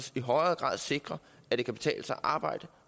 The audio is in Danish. i højere grad sikrer at det kan betale sig at arbejde